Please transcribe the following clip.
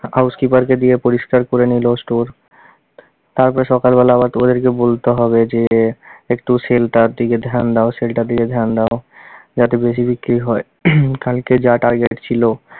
house keeper কে দিয়ে পরিষ্কার করে নিলো store তারপরে সকালবেলা আবার ত ওদেরকে বলতে হবে যে একটু sell টার দিকে ধ্যান দাও sell টার দিকে ধ্যান দাও যাতে বেশি বিক্রি হয় কালকে যা target ছিল